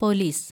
police